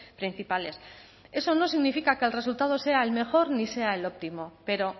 principales eso no significa que el resultado sea el mejor ni sea el óptimo pero